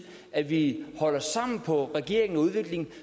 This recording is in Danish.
at vi holder sammen på regeringen udviklingen